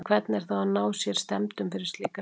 En hvernig er þá að ná sér stemmdum fyrir slíka leiki?